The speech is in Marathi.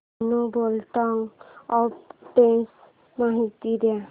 धेनु बिल्डकॉन आर्बिट्रेज माहिती दे